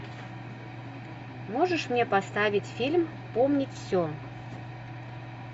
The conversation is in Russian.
можешь мне поставить фильм помнить все